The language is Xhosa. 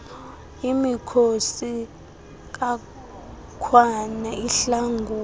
imikhosi kakhwane ihlangula